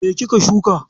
Me kika shuka?